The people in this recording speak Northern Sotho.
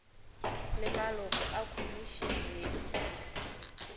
le maloko a khomišene ye